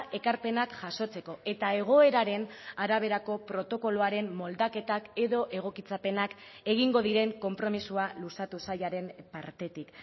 ekarpenak jasotzeko eta egoeraren araberako protokoloaren moldaketak edo egokitzapenak egingo diren konpromisoa luzatu sailaren partetik